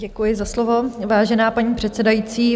Děkuji za slovo, vážená paní předsedající.